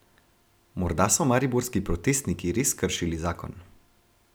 Morda so mariborski protestniki res kršili zakon.